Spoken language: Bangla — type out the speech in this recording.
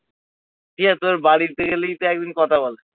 ঠিক আছে তোদের বাড়িতে গেলেই তো একদিন কথা বল